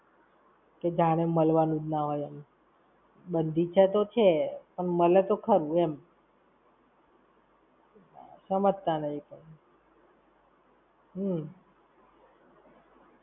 કે જાને મળવાનું જ ના હોય એમ. બંધી છે તો છે, પણ મળે તો ખરું એમ. સમજતા નહિ પણ. હમ્મ.